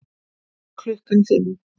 Klukkan fimm